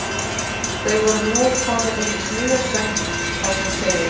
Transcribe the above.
Þau voru nú komin inn í miðjan söng þar sem segir